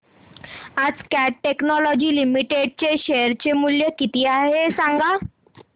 आज Cat Technologies Limited चे share चे मूल्य किती आहे सांगा